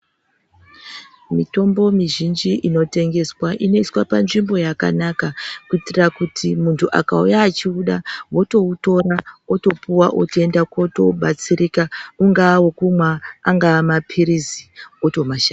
Mitombo mizhinji inotengeswa inoiswa panzvimbo yakanaka kuitira kuti munthu akauya achiuda ,otoutora otoupuwa, otoenda, otobatsirika. Aungaa wekumwa ,angaa maphirizi, otomashandi.